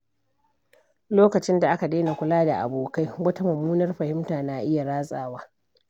Lokacin da aka daina kula da abokai, wata mummunar fahimta na iya ratsawa.